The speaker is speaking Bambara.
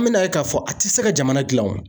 An men'a ye k'a fɔ a ti se ka jamana gilan wo